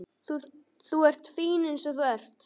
Þú ert fín eins og þú ert.